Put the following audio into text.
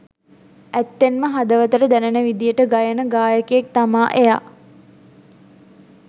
ඇත්තෙන්ම හදවතට දැනෙන විදියට ගයන ගායකයෙක් තමා එයා.